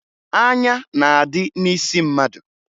Anya na-adị n'isi mmadụ